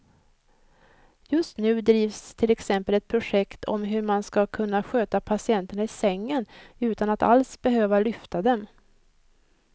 Just nu drivs till exempel ett projekt om hur man ska kunna sköta patienterna i sängen utan att alls behöva lyfta dem.